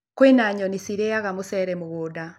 Kwĩna nyoni cirĩaga mũcere mũgũnda.